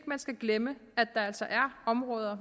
man skal glemme at der altså er områder